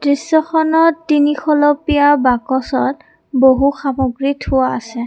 দৃশ্যখনত তিনিখলপীয়া বাকচত বহু সামগ্ৰী থোৱা আছে।